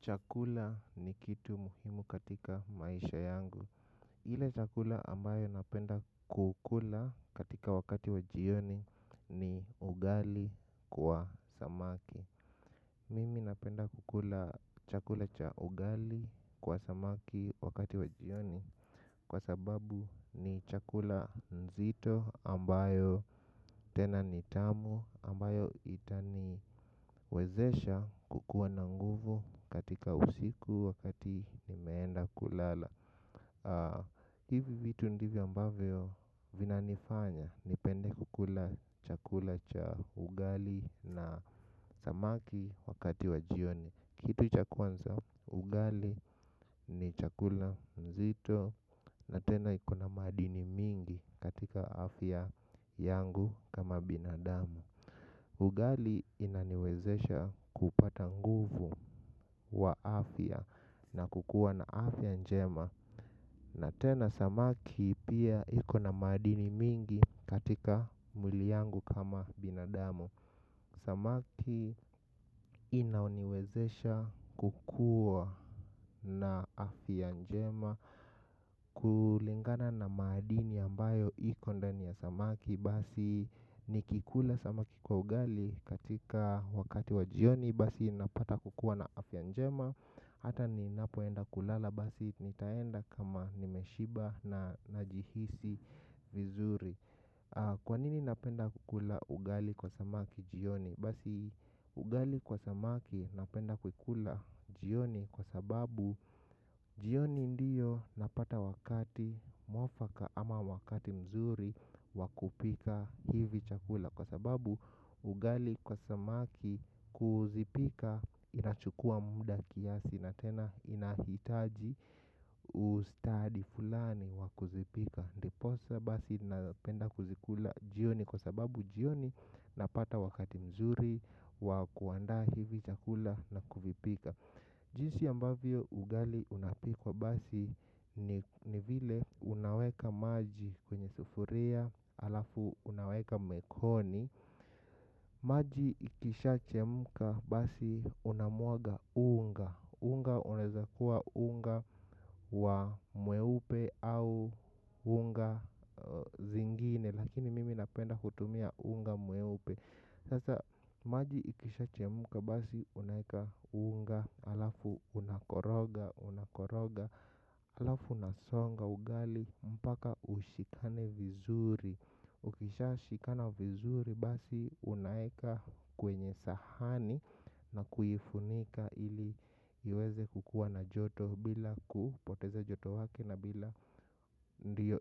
Chakula ni kitu muhimu katika maisha yangu. Ile chakula ambayo napenda kukula katika wakati wajioni ni ugali kwa samaki. Mimi napenda kukula chakula cha ugali kwa samaki wakati wajioni. Kwa sababu ni chakula nzito ambayo tena nitamu ambayo itaniwezesha kukuwa na nguvu katika usiku wakati imeenda kulala. Hivi vitu ndivio ambayo vinanifanya nipende kukula chakula cha ugali na samaki wakati wajioni. Kitu chakwanza ugali ni chakula mzito na tena ikona madini mingi katika afya yangu kama binadamu. Ugali inaniwezesha kupata nguvu wa afya na kukua na afya njema na tena samaki pia iko na madini mingi katika mwili yangu kama binadamu. Samaki inaoniwezesha kukua na afianjema kulingana na madini ambayo iko ndani ya samaki basi nikikula samaki kwa ugali katika wakati wa jioni basi napata kukua na afya njema. Hata ninapoenda kulala basi nitaenda kama nimeshiba na najihisi vizuri. Kwanini napenda kukula ugali kwa samaki jioni. Basi ugali kwa samaki napenda kukula jioni kwa sababu jioni ndiyo napata wakati mwafaka ama wakati mzuri wa kupika hivi chakula. Kwa sababu ugali kwa samaki kuzipika inachukua muda kiasi na tena inahitaji ustadi fulani wa kuzipika. Ndiposa basi napenda kuzikula jioni kwa sababu jioni napata wakati mzuri wa kuandaa hivi chakula na kuvipika. Jinsi ambavyo ugali unapikwa basi ni vile unaweka maji kwenye sufuria alafu unaweka mekoni. Maji ikisha chemka basi unamwaga unga. Unga unaeza kuwa unga wa mweupe au unga zingine. Lakini mimi napenda kutumia unga mweupe. Sasa maji ikisha chemka basi unaeka unga halafu unakoroga unakoroga halafu unasonga ugali mpaka ushikane vizuri ukisha shikana vizuri basi unaweka kwenye sahani na kuifunika ili iweze kukua na joto bila kupoteza joto wake ndo